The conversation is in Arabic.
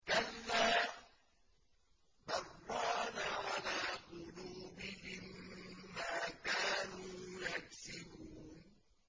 كَلَّا ۖ بَلْ ۜ رَانَ عَلَىٰ قُلُوبِهِم مَّا كَانُوا يَكْسِبُونَ